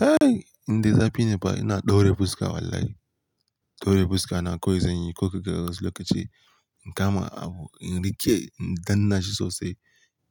Kai! In dai zafi ne fa ina ɗaure fuska wallahi. Ɗaure fuska na kawai zan yi ko kaga, ko kace in kama abu, in riƙe in danna shi sosai.